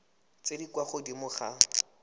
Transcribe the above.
tse di kwa godimo ga